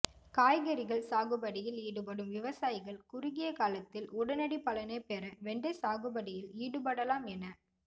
காய்கறிகள் சாகுபடியில் ஈடுபடும் விவசாயிகள் குறுகிய காலத்தில் உடனடி பலனைப் பெற வெண்டை சாகுபடியில் ஈடுபடலா ம் என